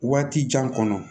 Waati jan kɔnɔ